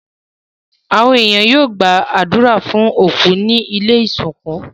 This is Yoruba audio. Àwon èèyàn yio gbàdùrà fun òkú ni ilẹ́ ìsìnkú